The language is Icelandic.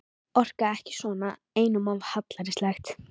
Orka ekki svona, einum of hallærislegt.